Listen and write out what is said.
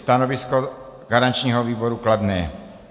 Stanovisko garančního výboru kladné.